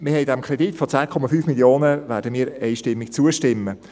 Wir werden dem Kredit von 10,5 Mio. Franken einstimmig zustimmen.